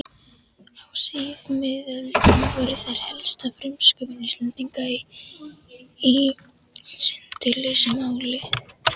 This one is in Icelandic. Á síðmiðöldum voru þær helsta frumsköpun Íslendinga í sundurlausu máli.